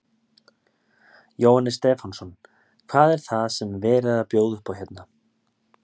Jóhannes Stefánsson: Hvað er það sem er verið að bjóða upp á hérna?